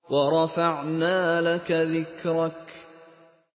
وَرَفَعْنَا لَكَ ذِكْرَكَ